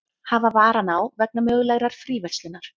Hafa varann á vegna mögulegrar fríverslunar